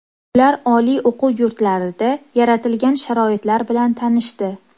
Ular oliy o‘quv yurtlarida yaratilgan sharoitlar bilan tanishdi.